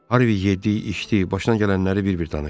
Harvi yeddi, başına gələnləri bir-bir danışdı.